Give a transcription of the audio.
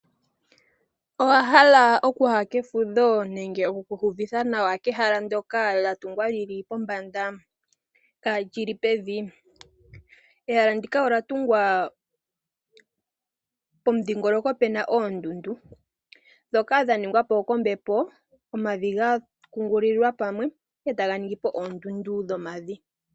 Owahala okuya kefudho nenge okuki iyuvitha nawa kehala ndyoka lyatungwa lili pombanda kaalili pevi? Ehala ndika olyatungwa pomudhingoloko puna oondundu, ndhoka dhaningwa po kombepo omavi gakungululilwa pamwe, etaga ningi po oondundu dhomavi.